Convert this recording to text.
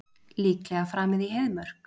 Líklega framið í Heiðmörk